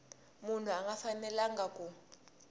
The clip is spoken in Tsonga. munhu a nga fanelanga ku